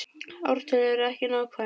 Ártöl eru ekki nákvæm.